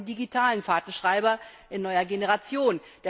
Jetzt haben wir den digitalen Fahrtenschreiber in neuer Generation.